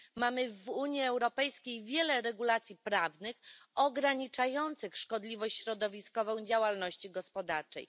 Mamy w Unii Europejskiej wiele regulacji prawnych ograniczających szkodliwość środowiskową działalności gospodarczej.